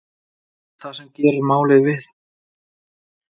Það sem gerir málið vitaskuld enn verra er að kona hans veit ekki neitt.